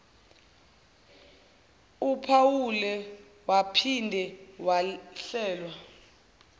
uphawule waphinde wahlelwa